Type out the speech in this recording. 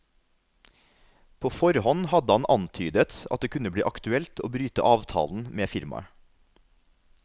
På forhånd hadde han antydet at det kunne bli aktuelt å bryte avtalen med firmaet.